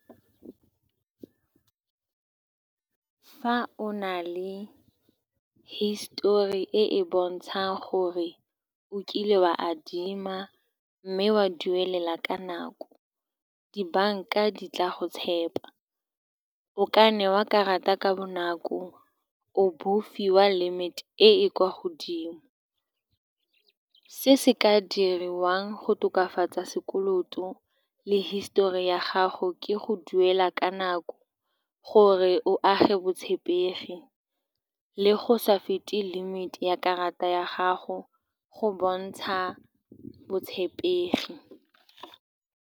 Fa o na le hisitori e e bontshang gore o kile wa adima mme wa duelela ka nako, di-bank-a di tla go tshepa. O ka newa karata ka bonako, o bo o fiwa limit-e e e kwa godimo. Se se ka diriwang go tokafatsa sekoloto le history ya gago ke go duela ka nako gore o age botshepegi, le go sa fete limit-e ya karata ya gago go bontsha botshepegi.